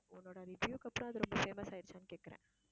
உன்னோட review க்கு அப்புறம் அது ரொம்ப famous ஆயிடுச்சான்னு கேட்கிறேன்